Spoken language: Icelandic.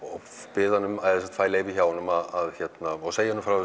bið hann að eða fæ leyfi hjá honum að og segi honum frá